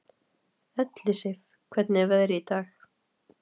Ellisif, hvernig er veðrið í dag?